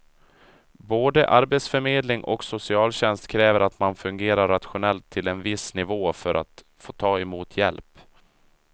Både arbetsförmedling och socialtjänst kräver att man fungerar rationellt till en viss nivå för att få ta emot hjälp.